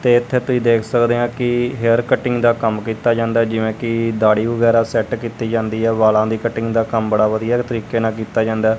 ਤੇ ਇਥੇ ਤੁਸੀਂ ਦੇਖ ਸਕਦੇ ਆ ਕਿ ਹੇਅਰ ਕਟਿੰਗ ਦਾ ਕੰਮ ਕੀਤਾ ਜਾਂਦਾ ਜਿਵੇਂ ਕਿ ਦਾੜੀ ਵਗੈਰਾ ਸੈੱਟ ਕੀਤੀ ਜਾਂਦੀ ਹੈ ਵਾਲਾਂ ਦੀ ਕਟਿੰਗ ਦਾ ਕੰਮ ਬੜਾ ਵਧੀਆ ਤਰੀਕੇ ਨਾਲ ਕੀਤਾ ਜਾਂਦਾ।